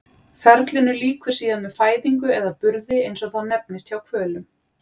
Ferlinu lýkur síðan með fæðingu eða burði eins og það nefnist hjá hvölum.